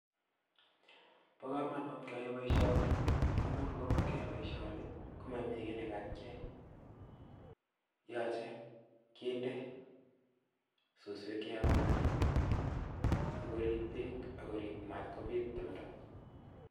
Bokomonut keyai boishoni ng'amun ng'omakiyai boishoni komomii kii nekakiyai, yoche kindee suswek cheyomnyotin sikorib beek ak korib matkobit timndo.